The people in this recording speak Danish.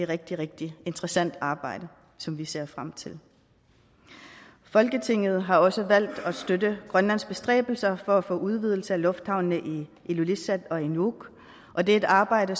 rigtig rigtig interessant arbejde som vi ser frem til folketinget har også valgt at støtte grønlands bestræbelser på at få udvidet lufthavnene i ilulissat og i nuuk og det er et arbejde